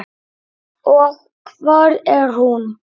Og hvar er hún?